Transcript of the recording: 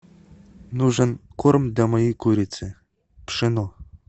нужен корм для моей курицы пшено